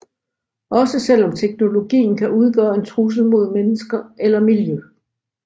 Også selv om teknologien kan udgøre en trussel mod mennesker eller miljø